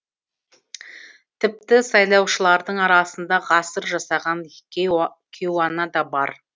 тіпті сайлаушылардың арасында ғасыр жасаған кейуана да бар